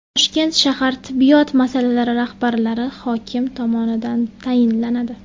Toshkent shahar tibbiyot muassasalari rahbarlari hokim tomonidan tayinlanadi.